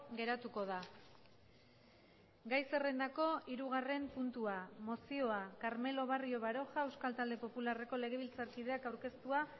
geratuko da gai zerrendako hirugarren puntua mozioa carmelo barrio baroja euskal talde popularreko legebiltzarkideak aurkeztua